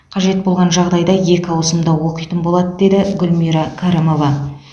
қажет болған жағдайда екі ауысымда оқитын болады деді гүлмира кәрімова